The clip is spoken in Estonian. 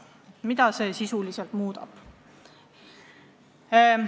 Mida see sisuliselt muudab?